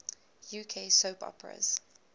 uk soap operas